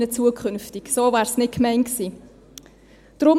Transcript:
So wäre es nicht gemeint gewesen.